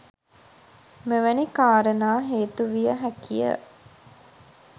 මෙවැනි කාරණා හේතුවිය හැකිය.